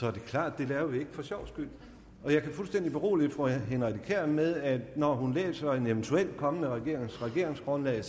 er det klart at vi det for sjov skyld jeg kan fuldstændig berolige fru henriette kjær med at når hun læser en eventuel kommende regerings regeringsgrundlag